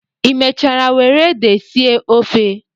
Ị mechara were ede sie ofe?